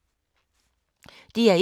DR1